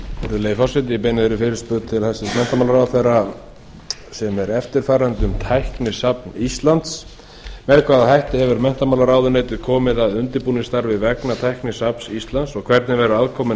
virðulegi forseti ég beini eftirfarandi fyrirspurn til hæstvirts menntamálaráðherra um tæknisafn íslands fyrstu með hvaða hætti hefur menntamálaráðuneytið komið að undirbúningsstarfi vegna tæknisafns íslands og hvernig verður aðkomunni